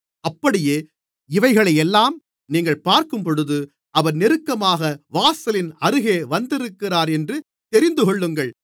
அப்படியே இவைகளையெல்லாம் நீங்கள் பார்க்கும்போது அவர் நெருக்கமாக வாசலின் அருகே வந்திருக்கிறார் என்று தெரிந்துகொள்ளுங்கள்